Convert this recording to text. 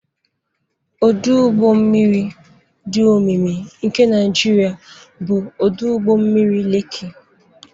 Ọdụ ụgbọ mmiri dị omimi nke Naijiria bụ ọdụ ụgbọ mmiri Lekki.